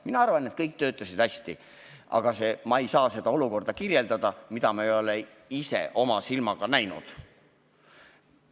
Mina arvan, et kõik töötasid hästi, aga ma ei saa kirjeldada olukorda, mida ma ei ole oma silmaga näinud.